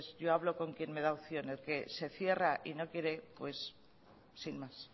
yo hablo con quien me da opción el que se cierra y no quiere pues sin más